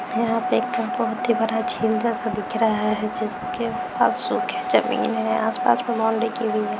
यहाँ पे एक बहुत ही बड़ा झील जैसा दिख रहा है जिसके पास सूखे जमीन है आस-पास की भी है।